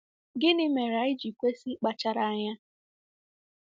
Gịnị mere anyị ji kwesị ịkpachara anya?